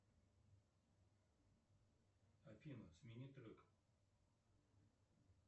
афина смени трек